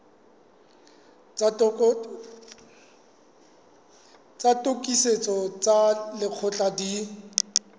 tsa tokisetso tsa lekgetho di